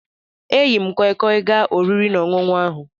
E yi m koi koi gaa oriri na ọṅụṅu ahu